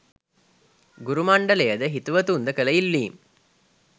ගුරු මණ්ඩලයද හිතවතුන්ද කළ ඉල්ලීම්